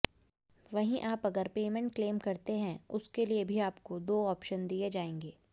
वहीं आप अगर पेमेंट क्लेम करते हैं उसके लिए भी आपको दो ऑप्शन दिए जाएंगे